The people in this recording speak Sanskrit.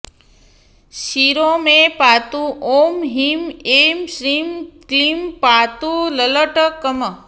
शिरो मे पातु ॐह्रीं ऐं श्रीं क्लींपातु ललाटकम्